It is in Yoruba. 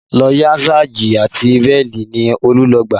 Lọ́yà sáàjì àti bíèlì ni Olú lọ gbà